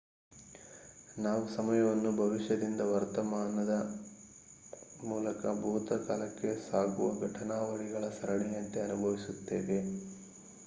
ನಾವು ಸಮಯವನ್ನು ಭವಿಷ್ಯದಿಂದ ವರ್ತಮಾನದ ಮೂಲಕ ಭೂತಕಾಲಕ್ಕೆ ಸಾಗುವ ಘಟನಾವಳಿಗಳ ಸರಣಿಯಂತೆ ಅನುಭವಿಸುತ್ತೇವೆ